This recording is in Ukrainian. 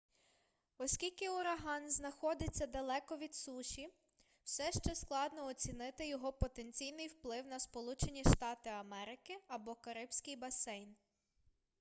оскільки ураган знаходиться далеко від суші все ще складно оцінити його потенційний вплив на сполучені штати америки або карибський басейн